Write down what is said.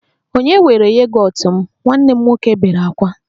Ònye were yogọt m? Nwanne m nwoke bere ákwá